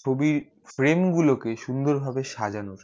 ছবি fram গুলো কে সুন্দুর ভাবে সাজানো